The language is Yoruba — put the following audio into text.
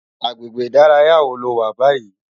Agbégbé idàráyá wó ló wá bàyí?